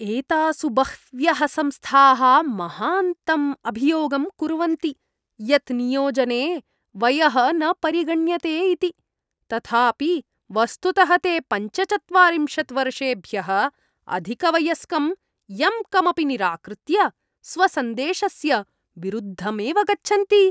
एतासु बह्व्यः संस्थाः महान्तम् अभियोगं कुर्वन्ति यत् नियोजने वयः न परिगण्यते इति, तथापि वस्तुतः ते पञ्चचत्वारिंशत् वर्षेभ्यः अधिकवयस्कं यं कमपि निराकृत्य स्वसन्देशस्य विरुद्धमेव गच्छन्ति।